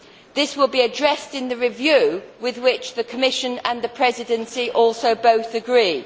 These will be addressed in the review, with which the Commission and the Presidency also both agree.